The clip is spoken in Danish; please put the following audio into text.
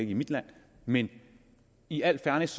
i mit land men i al fairness